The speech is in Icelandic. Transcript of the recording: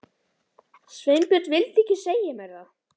Sveinbjörn vildi ekki segja mér það.